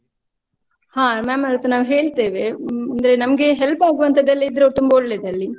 ಹ ma'am ವರತ್ರ ನಾವ್ ಹೇಳ್ತೆವೆ, ಅಂದ್ರೆ ನಮ್ಗೆ help ಗುವಂತಾದೆಲ್ಲ ಇದ್ರೆ ತುಂಬಾ ಒಳ್ಳೆದಲ್ಲಿ.